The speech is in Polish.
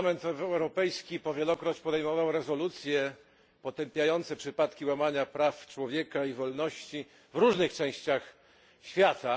Parlament Europejski wielokrotnie podejmował rezolucje potępiające przypadki łamania praw człowieka i wolności w różnych częściach świata.